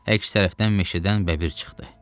Əks tərəfdən meşədən bəbir çıxdı.